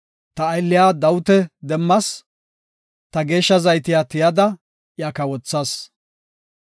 Ta aylliya Dawita demmas; ta geeshsha zaytiya tiyada iya kawothas.